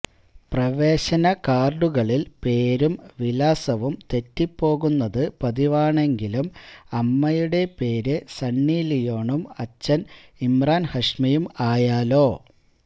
പ്രവേശന കാര്ഡുകളില് പേരും വിലാസവും തെറ്റിപോകുന്നത് പതിവാണെങ്കിലും അമ്മയുടെ പേര് സണ്ണി ലിയോണും അച്ഛന് ഇമ്രാന് ഹാഷ്മിയും ആയാലോ